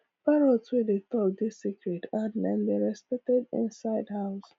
parrot wey dey talk dey sacred and dem dey respected inside house